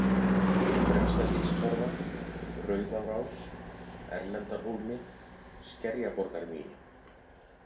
Fremstagilstorfa, Rauðárás, Erlendarhólmi, Skerjaborgarmýri